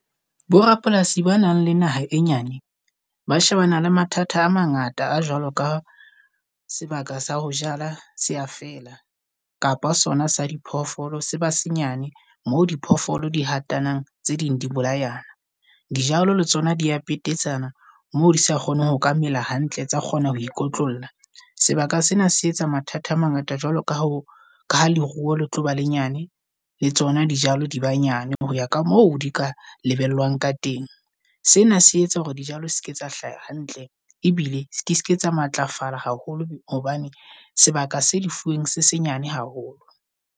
Bo rapolasi ba nang le naha e nyane ba shebana le mathata a mangata a jwalo ka sebaka sa ho jala sea fela. Kapa sona sa diphoofolo se senyane mo diphoofolo di hatanang tse ding di bolayang. Dijalo le tsona di ya petetsane mo di sa kgoneng hoka mela hantle, tsa kgona ho ikotlolla. Sebaka sena se etsa mathata a mangata jwalo ka ho ka ha leruo le tlo ba lenyane le tsona dijalo, di ba nyane ho ya ka mo di ka lebellwang ka teng. Sena se etsa hore dijalo ske tsa hlaha hantle, ebile ke ske tsa matlafala haholo hobane sebaka se di fuweng se senyane haholo.